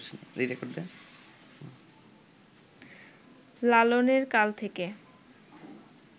লালনের কাল থেকে